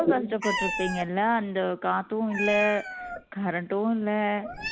ரொம்ப கஷ்டப்பட்டுரூபீங்கள காத்தும் இல்ல current ம் இல்ல